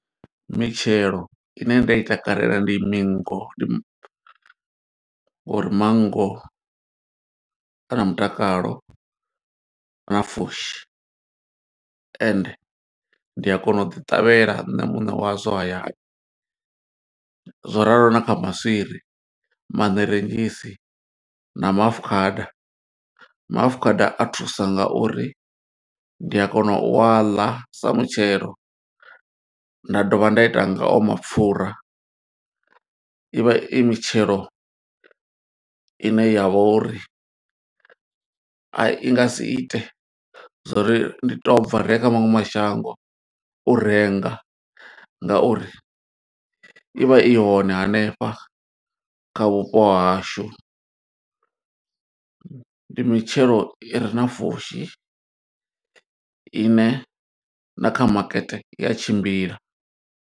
Mitshelo ine nda i takalela ndi mingo, ndi m, or manngo ana mutakalo na pfushi ende ndi a kona u ḓi ṱavhela nṋe muṋe wazwo hayani. Zwo ralo na kha maswiri, maṋerentshisi, na maafukhada. Maafukhada a thusa nga uri ndi a kona u a ḽa sa mutshelo, nda dovha nda ita nga o mapfura. I vha i mitshelo ine ya vha uri i nga si ite zwo uri ndi to bva, ri ye kha maṅwe mashango u renga nga uri i vha i hone hanefha kha vhupo hashu. Ndi mitshelo i re na pfushi, ine na kha makete i a tshimbila.